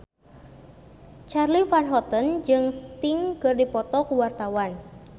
Charly Van Houten jeung Sting keur dipoto ku wartawan